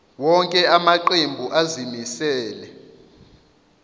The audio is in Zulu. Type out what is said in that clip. wonke amaqembu azimisela